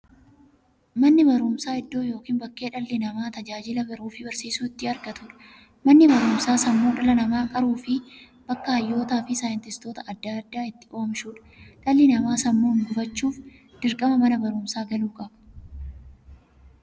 Manni baruumsaa iddoo yookiin bakkee dhalli namaa tajaajila baruufi barsiisuu itti argatuudha. Manni baruumsaa sammuu dhala namaa qaruufi bakka hayyootaa fi saayintistoota adda addaa itti oomishuudha. Dhalli namaa sammuun gufachuuf, dirqama Mana baruumsaa galuu qaba.